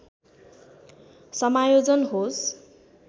समायोजन होस्